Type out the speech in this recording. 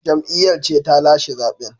Jam’iyyar ce ta lashe zaben